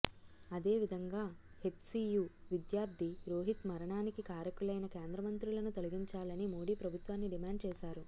అదే విదంగా హెచ్సీయూ విద్యార్థి రోహిత్ మరణానికి కారకులైన కేంద్రమంత్రులను తొలగించాలని మోడీ ప్రభుత్వాన్ని డిమాండ్ చేశారు